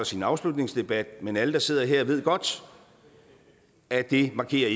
sin afslutningsdebat men alle der sidder her ved godt at det ikke markerer